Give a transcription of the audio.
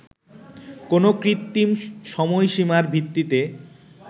কোন কৃত্রিম সময়সীমার ভিত্তিতে